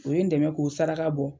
U ye n dɛmɛ k'o saraka bɔ.